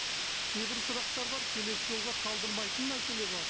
кейбір сұрақтар бар келесі жолға қалдырмайтын мәселе бар